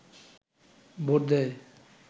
vote দেয়